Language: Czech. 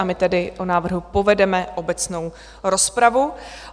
A my tedy o návrhu povedeme obecnou rozpravu.